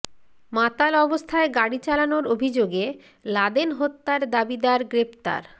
মাতাল অবস্থায় গাড়ি চালানোর অভিযোগে লাদেন হত্যার দাবিদার গ্রেফতার